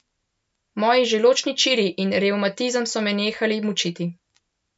Moji želodčni čiri in revmatizem so me nehali mučiti.